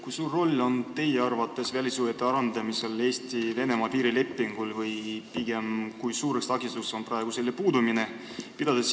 Kui suur roll on teie arvates välissuhete arendamisel Eesti-Venemaa piirilepingul või pigem kui suur takistus on selle puudumine?